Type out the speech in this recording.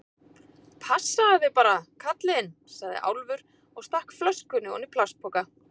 Passaðu þig bara, kallinn, sagði Álfur og stakk flöskunni oní plastpoka.